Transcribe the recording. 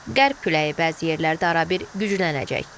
Qərb küləyi bəzi yerlərdə arabir güclənəcək.